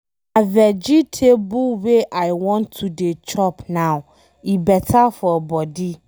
Na vegetable wey I wan to dey chop now, e beta for body.